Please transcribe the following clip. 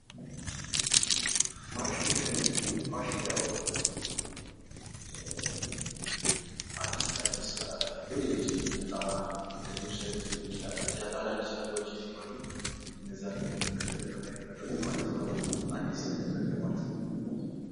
ፋሽን ፋሽን ያው አዲስ ከአዲስ በየዕለቱ የሚመጣ እንደ ልብስ አይነት ሊሆን ይችላል አዳዲስ ነገሮች ሲመጡ እነዚያን የምንከተልበት አይነት ነገሮች አዲስ ማለት አዲስ ነገርን እንደ ማለት ነው::